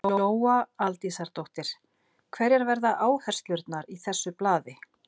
Lóa Aldísardóttir: Hverjar verða áherslurnar í þessu blaði?